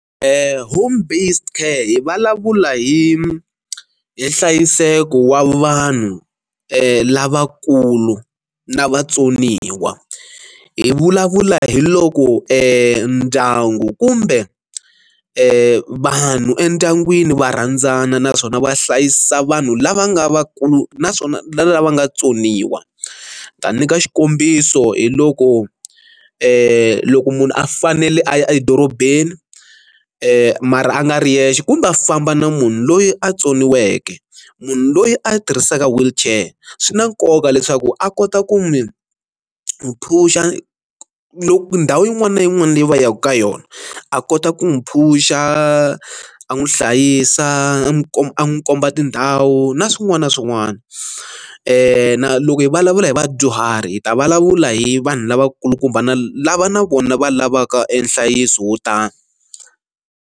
home based care hi vulavula hi hi nhlayiseko wa vanhu lavakulu na vatsoniwa hi vulavula hi loko ndyangu kumbe vanhu endyangwini va rhandzana naswona va hlayisa vanhu lava nga va kulu naswona lava nga tsoniwa ta nyika xikombiso hi loko loko munhu a fanele a ya edorobeni mara a nga ri yexe kumbe a famba na munhu loyi a tsoniweke munhu loyi a tirhisaka wheelchair swi na nkoka leswaku a kota ku mi n'wi phusha loko ndhawu yin'wana na yin'wana leyi va yaka ka yona a kota ku n'wi phusha a n'wi hlayisa a n'wi komba a n'wi komba tindhawu na swin'wana na swin'wana na loko hi vulavula hi vadyuhari hi ta vulavula hi vanhu lavakulukumba na lava na vona va lavaka e nhlayiso wo tani.